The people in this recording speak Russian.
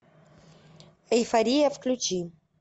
эйфория включи